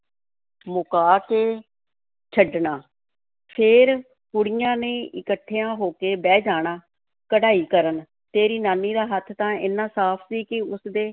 ਮੁਕਾ ਕੇ ਛੱਡਣਾ, ਫਿਰ ਕੁੜੀਆਂ ਨੇ ਇੱਕਠੀਆਂ ਹੋ ਕੇ ਬਹਿ ਜਾਣਾ, ਕਢਾਈ ਕਰਨ, ਤੇਰੀ ਨਾਨੀ ਦਾ ਹੱਥ ਤਾਂ ਏਨਾ ਸਾਫ਼ ਸੀ ਕਿ ਉਸ ਦੇ